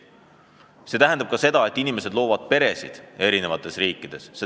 See tähendab ka seda, et inimesed loovad peresid erinevates riikides.